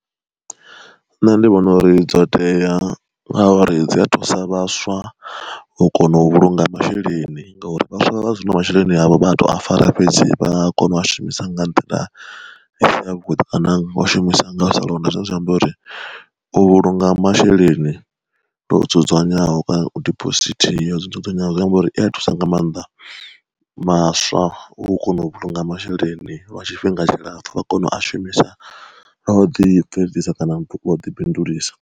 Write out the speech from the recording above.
Nṋe ndi vhona uri dzo tea ngauri dzi a thusa vhaswa hu kona u vhulunga masheleni ngauri vhaswa vha zwino masheleni avho a to a fara fhedzi vha a kona u a shumisa nga nḓila isi ya vhuḓi kana u shumisa nga u sa londa zwine zwa amba uri, u vhulunga masheleni lwo dzudzanyeaho kana diphosithi ya zwo dzudzanyeaho zwi amba uri i a thusa nga maanḓa vhaswa u kona u vhulunga masheleni lwa tshifhinga tshilapfu vha kona u a shumisa lwa u ḓi bveledzisa kana wa ḓi bindulisa.